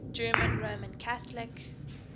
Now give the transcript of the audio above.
german roman catholic